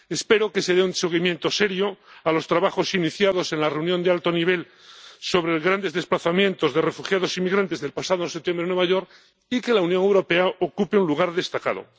Espero que se dé un seguimiento serio a los trabajos iniciados en la reunión de alto nivel sobre los grandes desplazamientos de refugiados y migrantes, del pasado septiembre en Nueva York, y que la Unión Europea ocupe un lugar destacado.